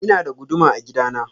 Ina da guduma a gida na.